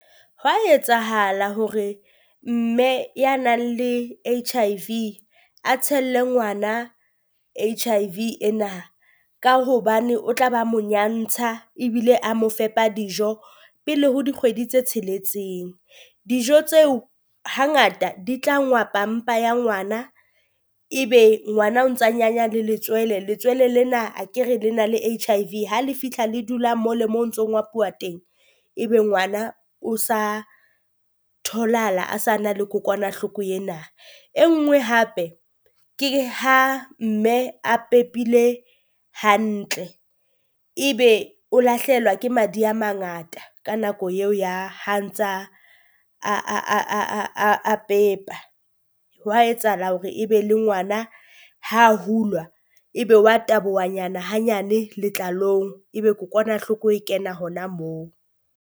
Hwa etsahala hore mme ya nang le H_I_V a tshelle ngwana H_I_V ena, ka hobane o tla ba mo nyantsha ebile a mo fepa dijo pele ho dikgwedi tse tsheletseng. Dijo tseo hangata di tla ngwapa mpa ya ngwana, ebe ngwana o ntsa nyanya le letswele letswele lena akere le na le H_I_V, ha le fitlha le dula mole moo o ntso ngapuwa teng, ebe ngwana o sa tholahala a sa na le kokwanahloko ena. E nngwe hape ke ha mme a pepile hantle ebe o lahlehelwa ke madi a mangata ka nako eo ya ha ntsa a pepa, hwa etsahala hore ebe le ngwana ha hulwa ebe wa taboha nyana hanyane letlalong, ebe kokwanahloko e kena hona moo.